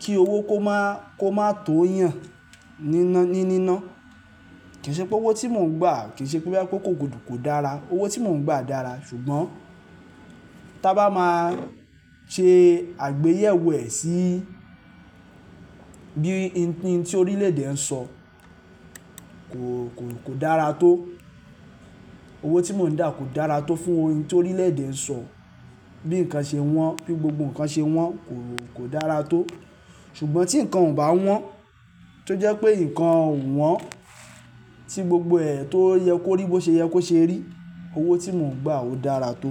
kí owó kó máa, kó máa tó yàn nína-ní níná. Kì í ṣe pé owó tí mò ń gbà, kì í ṣe pé boya pé kò, kò dára. Owó tí mò ń gbà dára, ṣùgbọ́n ta bá máa ṣe àgbéyẹ̀wò ẹ̀ sí bíi hin tí orílẹ̀ èdè ń sọ kò, kò dára tó. Owó tí mò ń dá kò dára tó fún ohun tí orílẹ̀ èdè ń sọ, bí nǹkan ṣe wọ́n, bí gbogbo nǹkan ṣe wọ́n kò, kò dára tó. Ṣùgbọ́n tí nǹkan ò bá wọ́n, tó jẹ́ pé nǹkan o wọ́n tí gbogbo ẹ̀ tó yẹ kó rí bó ṣe yẹ kó ṣe rí, owó tí mò ń gbà ò dára tó.